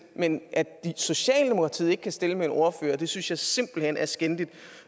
men at socialdemokratiet ikke kan stille med en ordfører synes jeg simpelt hen er skændigt